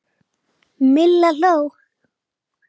Milla hló.